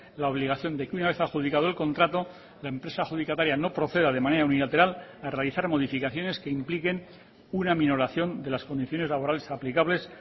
la obligación de que una vez adjudicado el contrato la empresa adjudicataria no proceda de manera unilateral a realizar modificaciones que impliquen una minoración de las condiciones laborales aplicables